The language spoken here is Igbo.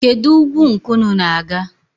Kedụ ugwu nke unu na-aga?